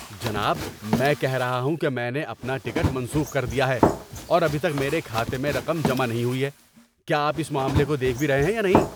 جناب! میں کہہ رہا ہوں کہ میں نے اپنا ٹکٹ منسوخ کر دیا ہے اور ابھی تک میرے کھاتے میں رقم جمع نہیں ہوئی ہے۔ کیا آپ اس معاملے کو دیکھ بھی رہے ہیں یا نہیں؟